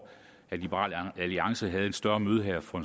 at liberal alliance havde et større møde her for